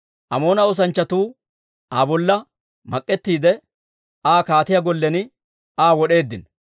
Amoona oosanchchatuu Aa bolla mak'ettiide, Aa kaatiyaa gollen Aa wod'eeddino.